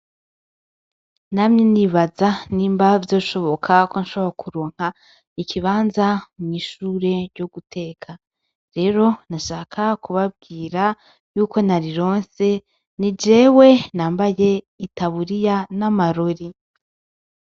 Namye nibaza nimba vyoshoboka ko nshobora kuronka ikibanza mw’ishure ryo guteka. Rero nashaka kubabwira yuko narironse, nijewe nambaye itaburiya n’amarori.